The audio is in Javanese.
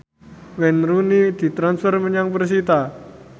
Wayne Rooney ditransfer menyang persita